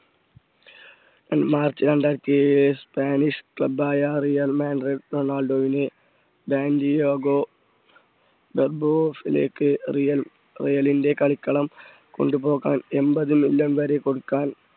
March രണ്ടായിരത്തി ഏഴ് Spanish club ആയ റിയൽമാഡ്രിഡ്റൊ ണാൾഡോയിനെ ബാൻറിയാഗോ റിയൽ ട്രെയിനിന്റെ കളിക്കളം കൊണ്ടുപോകാൻ എൺപത് മില്യൻ വരെ കൊടുക്കാൻ